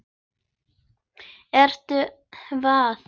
Ertu hvað?